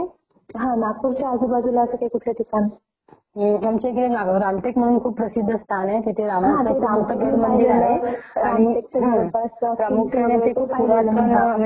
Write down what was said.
प्रामुख्याने ते पुरातन म्हणजे खूप प्राचीन मंदिर आहे ते आणि त्याचीं जे बनावट आहे ते बघण्यासाठी खूप दुरून दुरून लोक येतात खूप ब्युटीफुल आहे ते टेम्पल .बेस्ट . हम्म